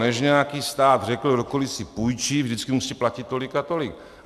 Než nějaký stát řekl: kdokoli si půjčí, vždycky musí platit tolik a tolik.